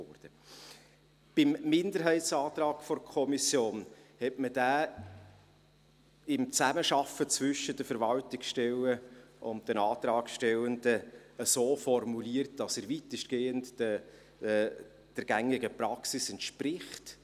Der Minderheitsantrag der Kommission wurde in Zusammenarbeit zwischen den Verwaltungsstellen und den Antragstellenden so formuliert, dass er weitestgehend der gängigen Praxis entspricht.